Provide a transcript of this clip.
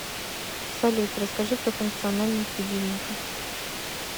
салют расскажи про функциональность будильника